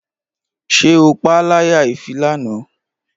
Ṣé o paá láyà if lánàá?